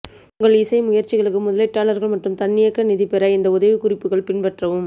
உங்கள் இசை முயற்சிகளுக்கு முதலீட்டாளர்கள் மற்றும் தன்னியக்க நிதி பெற இந்த உதவிக்குறிப்புகள் பின்பற்றவும்